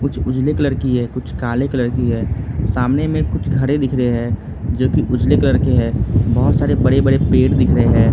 कुछ उजले कलर की है कुछ काले कलर की हैं सामने में कुछ घरे दिख रहे हैं जो की उजले कलर के हैं बहोत सारे बड़े बड़े पेड़ दिख रहे हैं।